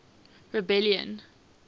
rebellion